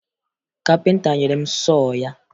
Kapịnta nyere m sọọ ya